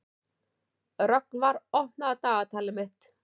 Rögnvar, opnaðu dagatalið mitt.